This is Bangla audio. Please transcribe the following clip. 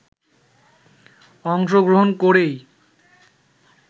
অংশগ্রহণ করেই